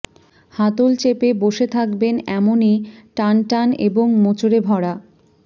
হাতল চেপে বসে থাকবেন এমনই টানটান এবং মোচড়ে ভরা